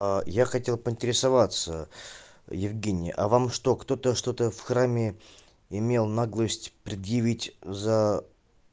я хотел поинтересоваться евгений а вам что кто-то что-то в храме имел наглость предъявить за